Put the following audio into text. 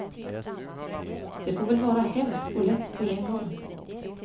Det får väl vara hemskt och lätt på en gång.